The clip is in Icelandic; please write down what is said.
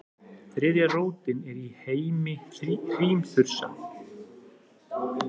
þriðja rótin er í heimi hrímþursa